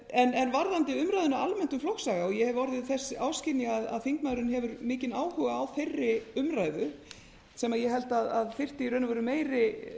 en varðandi umræðuna almennt um flokksaga og ég hef orðið þess áskynja að þingmaðurinn hefur mikinn áhuga á þeirri umræðu sem ég held að þyrfti í raun og veru meiri